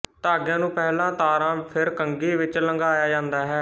ਧਾਗਿਆਂ ਨੂੰ ਪਹਿਲਾਂ ਤਾਰਾਂ ਫਿਰ ਕੰਘੀ ਵਿੱਚ ਲੰਘਾਇਆ ਜਾਂਦਾ ਹੈ